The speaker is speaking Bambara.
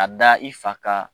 A da i fa kan